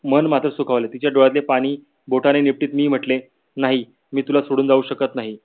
मन मात्र सूखवले. तिच्या डोळ्यातील पानी बोटाने निपटीत मी म्हटले नाही मी तुला सोडून जाऊ शकत नाही